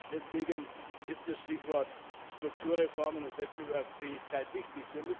Deswegen ist das Stichwort Strukturreformen und Wettbewerbsfähigkeit wichtig.